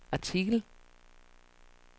artikel